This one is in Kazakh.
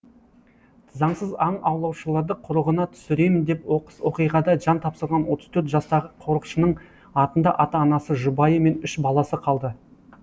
заңсыз аң аулаушыларды құрығына түсіремін деп оқыс оқиғада жан тапсырған отыз төрт жастағы қорықшының артында ата анасы жұбайы мен үш баласы қалды